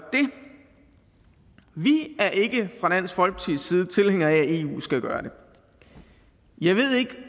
det vi er ikke fra dansk folkepartis side tilhængere af at eu skal gøre det jeg ved ikke